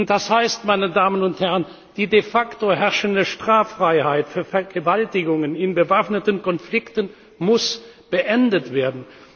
Das heißt, meine Damen und Herren, die de facto herrschende Straffreiheit für Vergewaltigungen in bewaffneten Konflikten muss beendet werden.